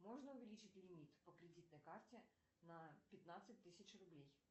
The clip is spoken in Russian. можно увеличить лимит по кредитной карте на пятнадцать тысяч рублей